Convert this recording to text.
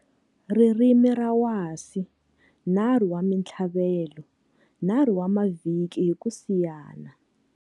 Ririmi ra wasi 3 wa mintlhavelo, 3 wa mavhiki hi ku siyana.